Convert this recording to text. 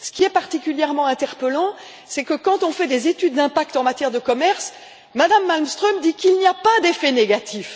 Ce qui est particulièrement interpellant, c'est que, dans le cadre des études d'impact en matière de commerce, Mme Malmström dit qu'il n'y a pas d'effets négatifs.